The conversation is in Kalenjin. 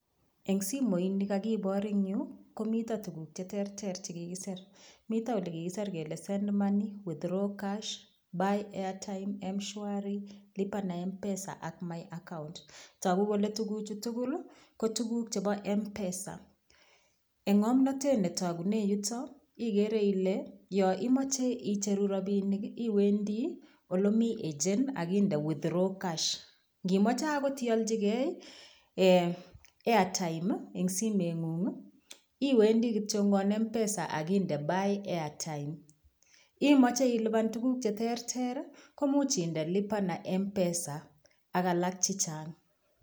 Eng' simoini kakibor eng' yu komito tukuk cheterter chekikiser mito ole kiser kele send money withdraw cash buy airtime mshwari lipa na mpesa ak my account toku kole tukuchu tugul ko tukuk chebo mpesa eng' ng'omnotet netokune yuto ikere ile yo imoche icheru robinik iwendi olomi agent akinde withdraw cash ngimoche akot iolchigei airtime ing' simeng'ung' iwendi kityo mpesa akinde buy airtime imoche ilipan tuguk cheterter komuch inde lipa na mpesa ak alak chichang'